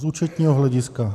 Z účetního hlediska.